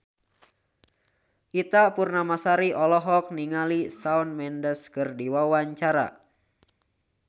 Ita Purnamasari olohok ningali Shawn Mendes keur diwawancara